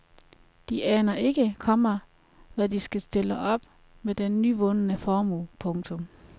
De aner ikke, komma hvad de skal stille op med den nyvundne formue. punktum